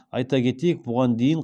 айта кетейік бұған дейін